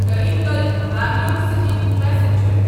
Karaikal Bangalore city passenger